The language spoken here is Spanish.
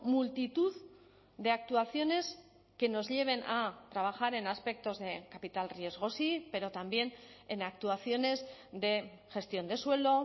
multitud de actuaciones que nos lleven a trabajar en aspectos de capital riesgo sí pero también en actuaciones de gestión de suelo